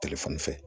Telefɔni fɛ